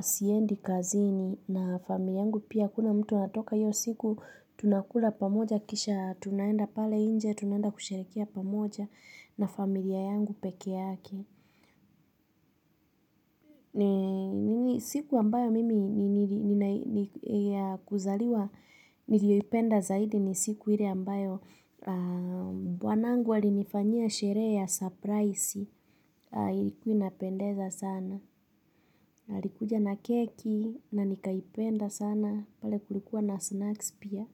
siendi kazini na familia yangu pia hakuna mtu anatoka hiyo siku. Tunakula pamoja kisha tunaenda pale nje, tunaenda kusherehekea pamoja na familia yangu peke yake. Ni siku ambayo mimi ni ya kuzaliwa nilioipenda zaidi ni siku ile ambayo bwanangu alinifanyia sherehe ya surprise ilikuwa inapendeza sana. Alikuja na keki na nikaipenda sana pale kulikuwa na snacks pia.